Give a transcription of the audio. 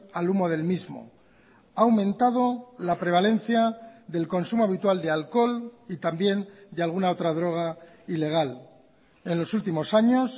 al humo del mismo ha aumentado la prevalencia del consumo habitual de alcohol y también de alguna otra droga ilegal en los últimos años